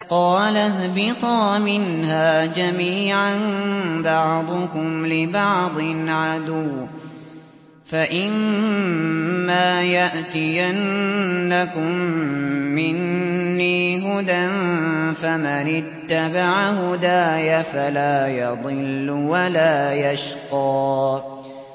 قَالَ اهْبِطَا مِنْهَا جَمِيعًا ۖ بَعْضُكُمْ لِبَعْضٍ عَدُوٌّ ۖ فَإِمَّا يَأْتِيَنَّكُم مِّنِّي هُدًى فَمَنِ اتَّبَعَ هُدَايَ فَلَا يَضِلُّ وَلَا يَشْقَىٰ